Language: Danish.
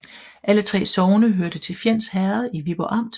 Alle 3 sogne hørte til Fjends Herred i Viborg Amt